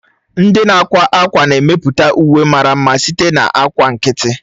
Ndị na-akwa ákwá na-emepụta uwe mara mma site na ákwà nkịtị.